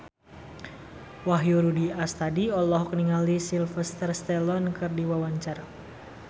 Wahyu Rudi Astadi olohok ningali Sylvester Stallone keur diwawancara